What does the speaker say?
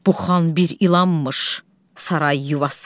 Bu xan bir ilanmış saray yuvası.